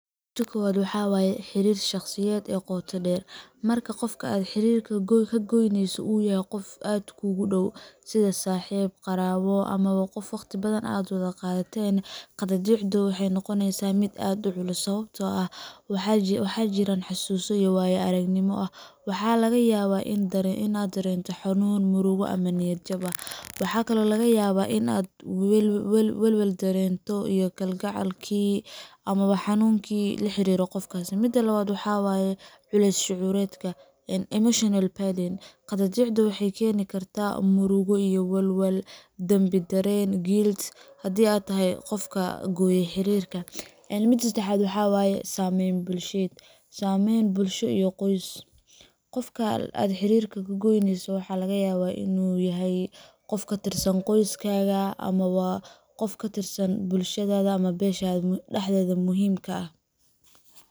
Miidi kowad waxaa waye xiriir shakhsiyadeed ee qoto dheer marka qofka aad xiriirka ka goyneyso uu yahay qof aada kuugu dhow sida saaxiib qaraabo ama waa qof wakhti badan aan wada qaateen qadaadiicda waxay noqoneysaa miid aad u culus sababtoo ah waxaa jira xassuuso iyo waayo aragnimo waxaa laga yaabaa inaad dareento xanuun murugo ama niyad jab ah waxa kale oo laga yaabaa inaad welwel dareento Iyo kalgacalkii ama xanuunkii la xiriira qofkaasi midda labaad waxaa waaye culays shucuureed ka een emotional barden qadaadiicda waxay keeni kartaa murugo iyo walwal dambi dareen gilt haddii aad tahay qofka guriga xiriirka .midii saddexaad waxa weeye saameyn bulsheed saameyn bulsho iyo qoys qofka aad xiriirka goynayso waxaa laga yaabaa inuu yahay qof ka tirsan qoys kaga ama waa qof katirsan bulshada ama beshada dahdeda muhiim kaa ah.